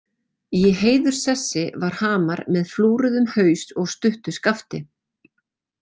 Í heiðurssessi var hamar með flúruðum haus og stuttu skafti.